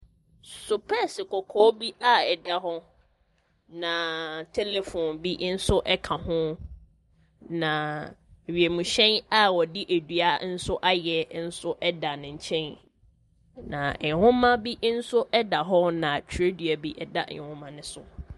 Sepɛɛse kɔkɔɔ bi a ɛda hɔ, na telephone bi nso ka ho, na wienhyɛn a wɔde dua nso ayɛ nso da ne nkyɛn. Nwoma bi nso da hɔ na twerɛ nso da nwoma ne so.